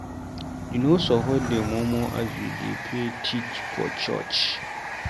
You no suppose dey murmur as you dey payy tithe for church.